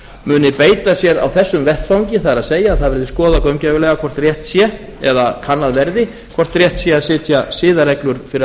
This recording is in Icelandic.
muni beita sér á þessum vettvangi það er að það verði skoðað gaumgæfilega hvort rétt sé eða kannað verði hvort rétt sé að setja siðareglur fyrir